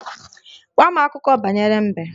Gwa m akụkọ banyere mbe!